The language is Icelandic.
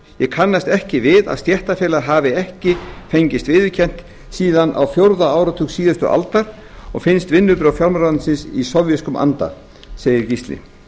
ég kannast ekki við að stéttarfélag hafi ekki fengist viðurkennt síðan á fjórða áratug síðustu aldar og finnst vinnubrögð fjármálaráðuneytisins í sovéskum anda segir gísli